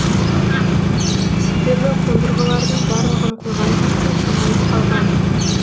себебі қондырғылардың барлығын қойған кезде жиналып қалған